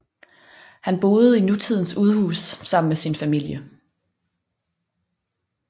Han boede i nutidens udhus sammen med sin familie